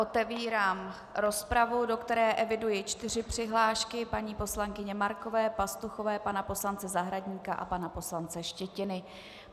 Otevírám rozpravu, do které eviduji čtyři přihlášky - paní poslankyně Markové, Pastuchové, pana poslance Zahradníka a pana poslance Štětiny.